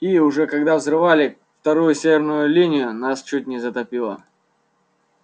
и уже когда взрывали вторую северную линию нас чуть не затопило